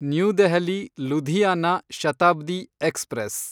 new Delhi Ludhiana Shatabdi express